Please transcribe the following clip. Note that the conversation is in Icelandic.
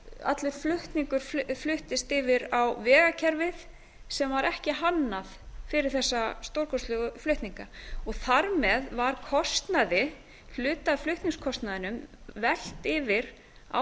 allur flutningur fluttist yfir á vegakerfið sem var ekki hannað fyrir þessa stórkostlegu flutninga þar með var kostnaði hluta af flutningskostnaðinum velt yfir á